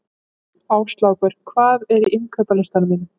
Áslákur, hvað er á innkaupalistanum mínum?